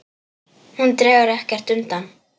Hún dregur ekkert undan.